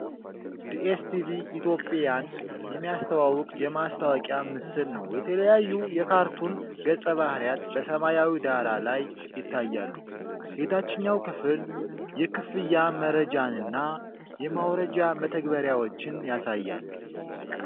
ዲኤስቲቪ ኢትዮጵያን የሚያስተዋውቅ የማስታወቂያ ምስል ነው። የተለያዩ የካርቱን ገጸ-ባህሪያት በሰማያዊ ዳራ ላይ ይታያሉ። የታችኛው ክፍል የክፍያ መረጃንና የማውረጃ መተግበሪያዎችን ያሳያል።